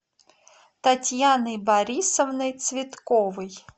татьяной борисовной цветковой